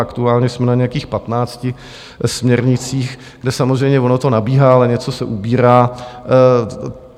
Aktuálně jsme na nějakých 15 směrnicích, kde samozřejmě ono to nabíhá, ale něco se ubírá.